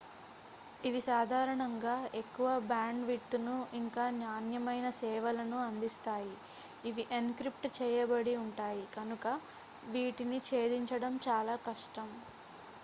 ఇవి సాధారణంగా ఎక్కువ బ్యాండ్ విడ్త్ను ఇంకా నాణ్యమైన సేవలను అందిస్తాయి ఇవి ఎన్క్రిప్ట్ చేయబడి ఉంటాయి కనుక వీటిని ఛేదించడం చాలా కష్టం